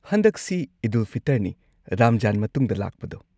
ꯍꯟꯗꯛꯁꯤ ꯏꯗ-ꯎꯜ-ꯐꯤꯇꯔꯅꯤ, ꯔꯝꯖꯥꯟ ꯃꯇꯨꯡꯗ ꯂꯥꯛꯄꯗꯣ꯫